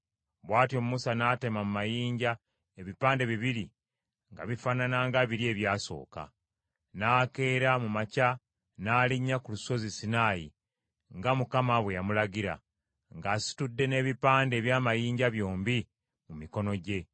Bw’atyo Musa n’atema mu mayinja ebipande bibiri nga bifaanana nga biri ebyasooka; n’akeera mu makya n’alinnya ku lusozi Sinaayi, nga Mukama bwe yamulagira, ng’asitudde n’ebipande eby’amayinja byombi mu mikono gye.